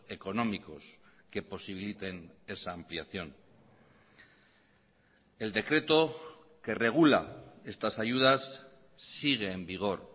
económicos que posibiliten esa ampliación el decreto que regula estas ayudas sigue en vigor